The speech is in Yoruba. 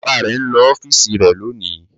Bàbá rẹ̀ ń lọ ọ́fíísì rẹ̀ lónìí.